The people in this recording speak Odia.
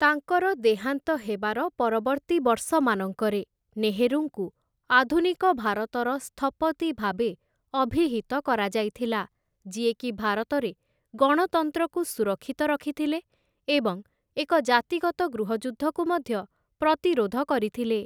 ତାଙ୍କର ଦେହାନ୍ତ ହେବାର ପରବର୍ତ୍ତୀ ବର୍ଷମାନଙ୍କରେ, ନେହେରୁଙ୍କୁ 'ଆଧୁନିକ ଭାରତର ସ୍ଥପତି' ଭାବେ ଅଭିହିତ କରାଯାଇଥିଲା, ଯିଏକି ଭାରତରେ ଗଣତନ୍ତ୍ରକୁ ସୁରକ୍ଷିତ ରଖିଥିଲେ ଏବଂ ଏକ ଜାତିଗତ ଗୃହଯୁଦ୍ଧକୁ ମଧ୍ୟ ପ୍ରତିରୋଧ କରିଥିଲେ ।